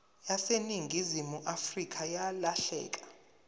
yaseningizimu afrika yalahleka